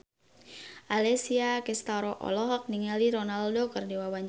Alessia Cestaro olohok ningali Ronaldo keur diwawancara